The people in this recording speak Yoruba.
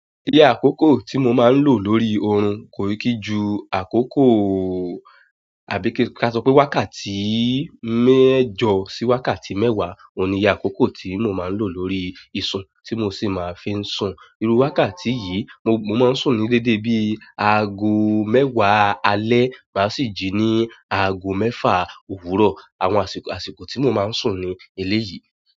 Iye àkókò tí mo máa ń lò lórí oorun kò kí ju àkókò, àbí kí a sọ pé wákàtí mẹ́jọ sí wákàtí mẹ́wàá. Óun ni iye àkókò tí mo máa ń lò lórí ìsun tí mo sì máa ń fi ń sun. Irú wákàtí yìí mo, mo máa ń sùn ní dédé bí i aago mẹ́wàá alẹ́, mà sì jí ní aago mẹ́fa òwúrọ̀. Àwọn àsìkò, àsìkò tí mo máa ń sùn ni ilé yìí.